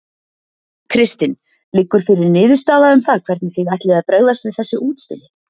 Kristinn: Liggur fyrir niðurstaða um það hvernig þið ætlið að bregðast við þessu útspili?